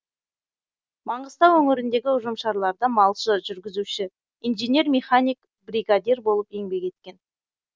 маңғыстау өңіріндегі ұжымшарларда малшы жүргізуші инженер механик бригадир болып еңбек еткен